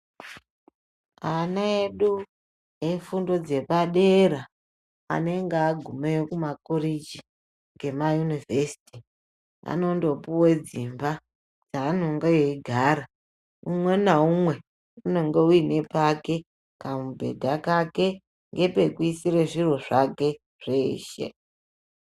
Ana edu efundo dzepadera anenge agumeyo kumakoreji ngemayunivhesiti anondopuwe dzimba dzaanenge eigara umwe naumwe unenge uine pake kamubhedha kake ngepekuisire zviro zvake zveshe.